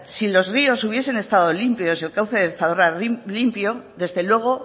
si los ríos hubiesen estado limpios el cauce del zadorra limpio desde luego